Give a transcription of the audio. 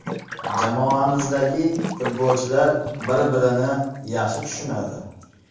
Jamoamizdagi futbolchilar bir-birini yaxshi tushunadi.